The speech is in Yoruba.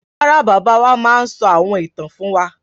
Rárá, bàbá wa máa ń sọ àwọn ìtàn fún wa.